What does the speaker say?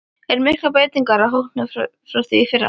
Eru miklar breytingar á hópnum frá því í fyrra?